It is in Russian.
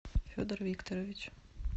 федор викторович